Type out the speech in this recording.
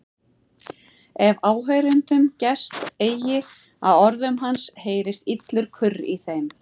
Ef áheyrendum gest eigi að orðum hans heyrist illur kurr í þeim.